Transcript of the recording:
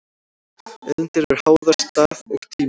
Auðlindir eru háðar stað og tíma.